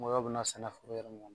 Ngɔyɔ be na sɛnɛ fo i yɛrɛ